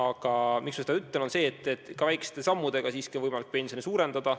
Ma ütlen seda, et viidata, et ka väikeste sammudega on võimalik pensioni suurendada.